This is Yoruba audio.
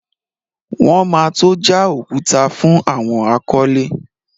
Wọn ma tó já òkúta fún àwọn akọ́lé.